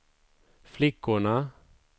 flickorna